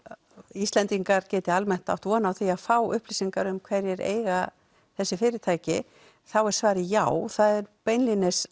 Íslendingar geti almennt á von á því að fá upplýsingar um hverjir eiga þessi fyrirtæki þá er svarið já það er beinlínis